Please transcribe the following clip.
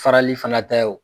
Farali fana ta ye o